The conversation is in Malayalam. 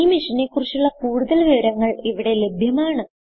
ഈ മിഷനെ കുറിച്ചുള്ള കുടുതൽ വിവരങ്ങൾ ഇവിടെ ലഭ്യമാണ്